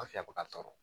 An fɛ yan bɛ ka tɔɔrɔ